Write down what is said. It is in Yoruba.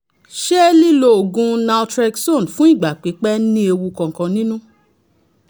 ṣé lílo oògùn naltrexone fún ìgbà pípẹ́ ní ewu kankan nínú?